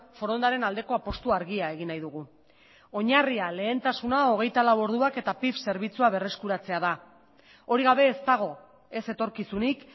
forondaren aldeko apustu argia egin nahi dugu oinarria lehentasuna hogeita lau orduak eta pif zerbitzua berreskuratzea da hori gabe ez dago ez etorkizunik